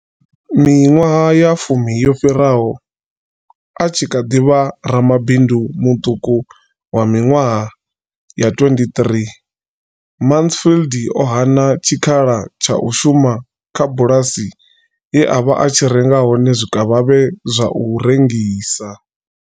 Miṅwaha ya fumi yo fhiraho, a tshi kha ḓi vha ramabindu muṱuku wa miṅwaha ya 23, Mansfield o hana tshikhala tsha u shuma kha bulasi ye a vha a tshi renga hone zwikavhavhe zwa u rengisa.